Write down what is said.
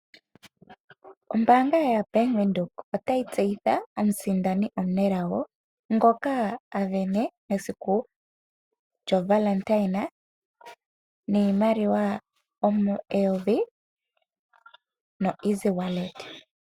Ombanga yaBank Windhoek otayi tseyitha omusindani omunelago ngoka a vene esiku lyohole niimaliwa eyovi noEasy Wallet.